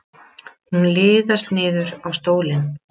Hún liðast niður á stólinn.